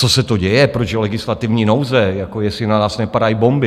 Co se to děje, proč je legislativní nouze, jako jestli na nás nepadají bomby?